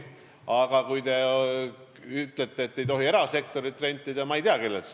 Aga kui te ütlete, et ei tohi erasektorilt pinda rentida, siis ma ei tea, kellelt tohib.